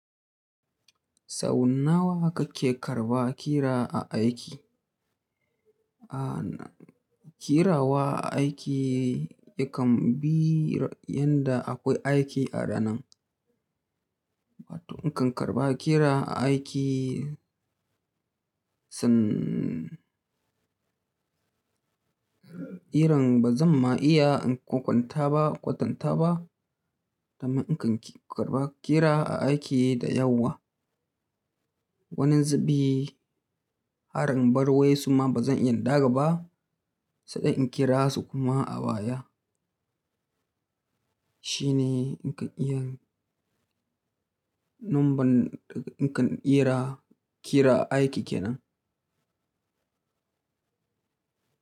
Sau nawa kake karba kira a aiki? Aaa, kirawa aiki yakan bi yadda akwai aiki a ranan. Batun in kan karba kira aiki, san irin ba zan ma iya in kwatanta ba, kwatanta ba, dan in kan karba kira a aiki da yawa. Wani zubi, harin barwaye suma ba zan iya ɗaga ba, sadai in kira su kuma a baya. Shine in kan iyan, numban in kan kira aiki kenan.